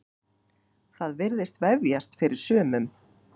Það virðist vefjast fyrir sumum.